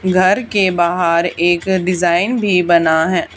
घर के बाहर एक डिजाइन भी बना है।